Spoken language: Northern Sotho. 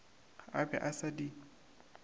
a be a sa di